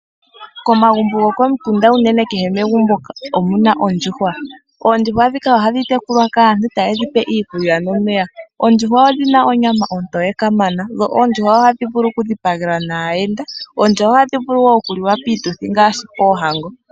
Komagumbo gokomikunda, unene kehe megumbo omuna oondjuhwa. Oondjuhwa ndhika oha dhi tekulwa kaantu, ta ye dhi pe iikulya nomeya, oondjuhwa odhina onyama ontoye kama, dho ondjuhwa oha dhi vulu oku dhipagelwa naayenda, oondjuhwa oha dhi vulu wo oku liwa piituthi, ngaashi ohango.